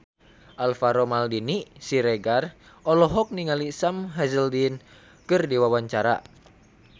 Alvaro Maldini Siregar olohok ningali Sam Hazeldine keur diwawancara